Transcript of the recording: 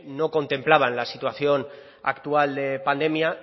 no contemplaban la situación actual de pandemia